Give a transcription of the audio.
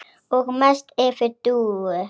Og mest yfir Dúu.